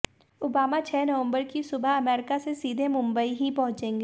Obama छह नवंबर की सुबह अमरीका से सीधे मुंबई ही पहुंचेंगे